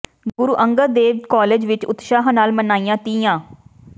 ਗੁਰੂ Angad Dev college ਵਿੱਚ ਉਤਸ਼ਾਹ ਨਾਲ ਮਨਾਈਆਂ ਤੀਆਂ